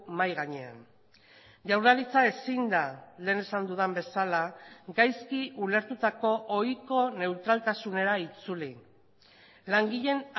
mahai gainean jaurlaritza ezin da lehen esan dudan bezala gaizki ulertutako ohiko neutraltasunera itzuli langileen